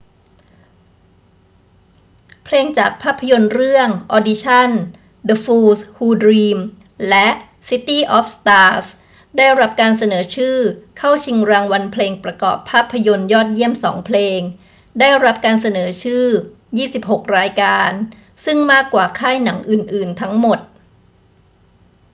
เพลงจากภาพยนตร์เรื่อง audition the fools who dream และ city of stars ได้รับการเสนอชื่อเข้าชิงรางวัลเพลงประกอบภาพยนตร์ยอดเยี่ยมสองเพลง ได้รับการเสนอชื่อ 26 รายการ ซึ่งมากกว่าค่ายหนังอื่น ๆ ทั้งหมด